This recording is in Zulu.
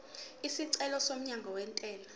isicelo somyalo wentela